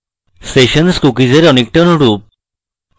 sessions cookies অনেকটা অনুরূপ